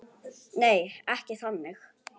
Nei, ekki þannig.